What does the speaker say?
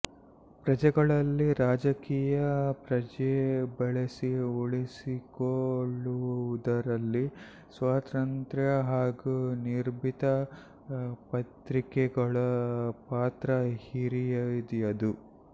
ಪ್ರಜೆಗಳಲ್ಲಿ ರಾಜಕೀಯ ಪ್ರಜ್ಞೆ ಬೆಳೆಸಿ ಉಳಿಸಿಕೊಳ್ಳುವುದರಲ್ಲಿ ಸ್ವತಂತ್ರ ಹಾಗೂ ನಿರ್ಭೀತ ಪತ್ರಿಕೆಗಳ ಪಾತ್ರ ಹಿರಿಯದು